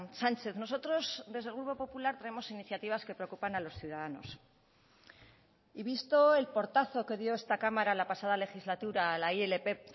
sánchez nosotros desde el grupo popular traemos iniciativas que preocupan a los ciudadanos y visto el portazo que dio esta cámara la pasada legislatura a la ilp